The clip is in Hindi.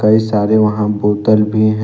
ये सारे वहां बोतल भी है।